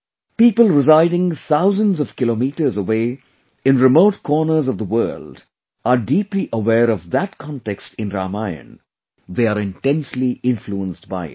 People residing thousands of kilometers away in remote corners of the world are deeply aware of that context in Ramayan; they are intensely influenced by it